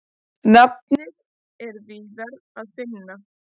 Nafnið er víðar að finna.